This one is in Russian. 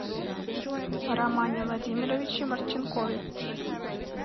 романе владимировиче марченкове